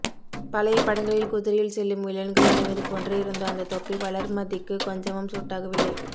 பழைய படங்களில் குதிரையில் செல்லும் வில்லன்கள் அணிவது போன்ற இருந்த அந்த தொப்பி வளர்அமதிக்கு கொஞ்சமும் சூட் ஆகவில்லை